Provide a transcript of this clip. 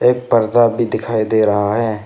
एक परदा भी दिखाई दे रहा है।